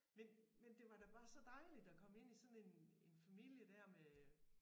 Men men det var da bare så dejligt at komme ind sådan en en familie der med